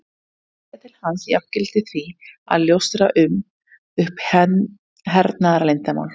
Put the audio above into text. Að segja til hans jafngilti því að ljóstra upp um hernaðarleyndarmál.